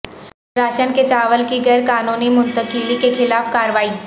ration کے چاول کی غیر قانونی منتقلی کے خلاف کارروائی